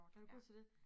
Er du god til det?